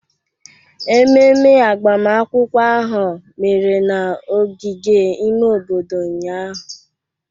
Ememe agbamakwụkwọ ahụ mere n'ogige ime obodo ụnyahụ